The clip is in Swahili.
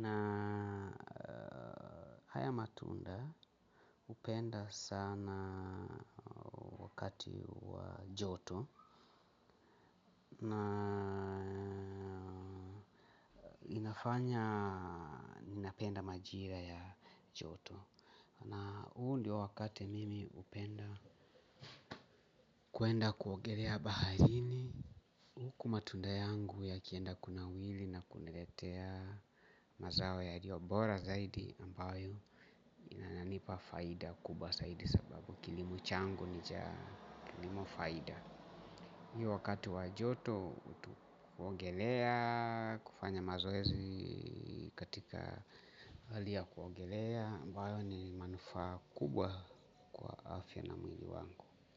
na haya matunda hupenda sana wakati wa joto. Na. Inafanya ninapenda majira ya joto. Na ule wakati mimi hupenda. Kuenda kuogelea baharini huku matunda yangu yakiendelea kunawiri na kuniletea. Mazao yaliyo bora zaidi ambayo, inananipa faida kubwa zaidi sababu kilimo changu ni cha kilimo faida. Hii wakati wa joto huongelea. Kufanya mazoezi katika hali ya kuongelea ambayo ni manufaa kubwa afya na mwili wangu.